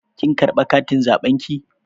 Kin karɓa katin zaɓen ki?